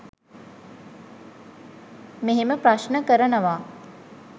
මෙහෙම ප්‍රශ්න කරනවා.